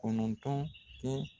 Kɔnɔntɔn kɛ